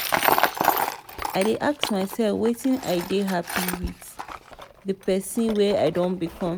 i dey ask myself weda i dey hapi wit di pesin wey i don become.